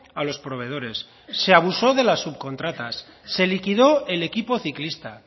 a los proveedores se abusó de las subcontratas se liquidó el equipo ciclista